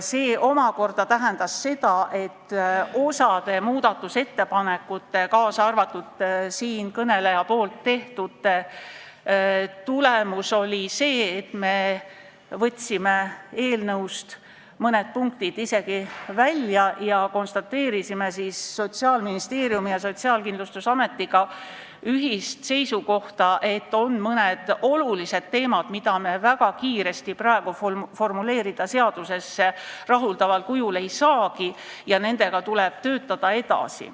See omakorda tähendas seda, et osa muudatusettepanekute, kaasa arvatud siinkõneleja tehtud ettepanekute tulemus oli see, et me võtsime eelnõust mõned punktid isegi välja ja konstateerisime siis Sotsiaalministeeriumi ja Sotsiaalkindlustusametiga ühiselt, et on mõned olulised teemad, mida me väga kiiresti seaduses praegu rahuldaval kujul formuleerida ei saagi ja nendega tuleb edasi töötada.